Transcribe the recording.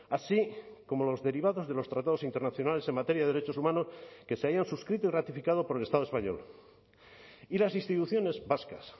así como los derivados de los tratados internacionales en materia de derechos humanos que se hayan suscrito y ratificado por el estado español y las instituciones vascas